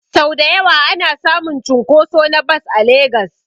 Sau dayawa ana samun cunkoso na bas a legas